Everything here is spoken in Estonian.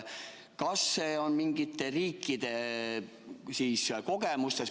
Kas see on mingite riikide kogemustest?